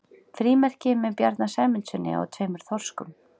frímerki með bjarna sæmundssyni og tveimur þorskum